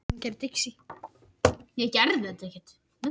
Einsog hlýjar hendurnar fyrr í tímanum.